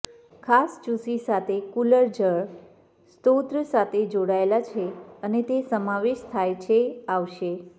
ખાસ ચૂસી સાથે કુલર જળ સ્ત્રોત સાથે જોડાયેલ છે અને તે સમાવેશ થાય છે આવશે